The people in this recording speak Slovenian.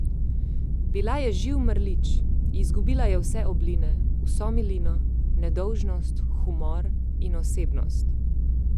Bila je živ mrlič, izgubila je vse obline, vso milino, nedolžnost, humor in osebnost.